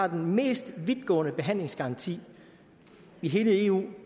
mest vidtgående behandlingsgaranti i hele eu